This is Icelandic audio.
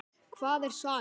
Hvað er saga?